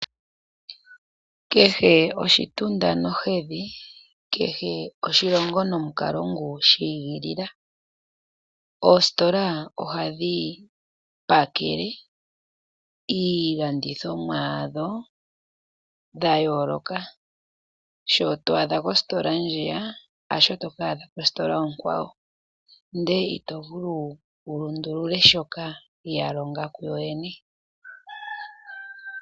Kehe oshitunda nohedhi kehe oshilongo nomukalo ngu shi igilila. Oositola ohadhi pakele iilandithomwa yadho dha yooloka, sho to adha kositola ndjiya hasho toka adha kositola onkwawo, ndele ito vulu wu lundulule shoka ya longa ku yo yene.